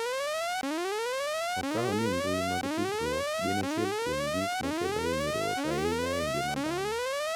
Okawo ni mbui mag tudruok gin achiel kuom gik ma kelo hinyruok ahinya e ngima dhano.